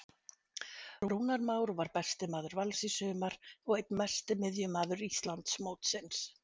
Rúnar Már var besti maður Vals í sumar og einn mesti miðjumaður Íslandsmótsins.